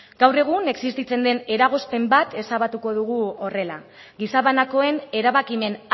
gaur egun existitzen den eragozpen bat ezabatuko dugu horrela gizabanakoen erabakimen